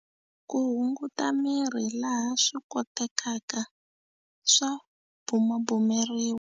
Ku hunguta miri, laha swikotekaka, swa bumabumeriwa.